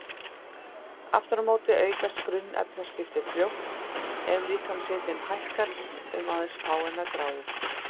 Aftur á móti aukast grunnefnaskipti fljótt ef líkamshitinn hækkar um aðeins fáeinar gráður.